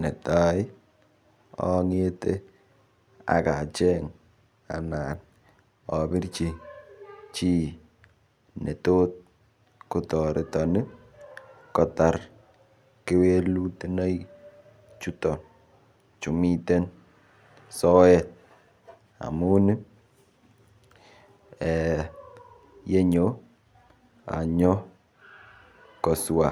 Netai angete akacheng ana abirchi chi ne tot kotoreton kotar kewelutonoik chuton chu miten soet amun yenyo anyokoswa